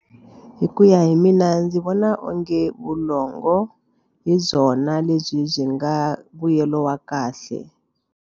Hi ku ya hi mina ndzi vona onge vulongo hi byona lebyi byi nga mbuyelo wa kahle.